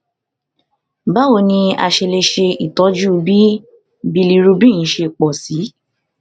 báwo ni a ṣe lè ṣe itọju bí bilirubin ṣe pọ sí i